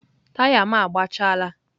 taya m agbachaala.